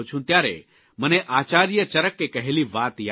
ત્યારે મને આચાર્ય ચરકે કહેલી વાત યાદ આવે છે